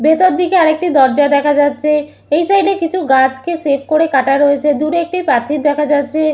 ভেতর দিকে আর একটি দরজা দেখা যাচ্ছে এই সাইড -এ কিছু গাছকে সেভ করে কাটা রয়েছে দূরে একটি প্রাচীর দেখা যাচ্ছে।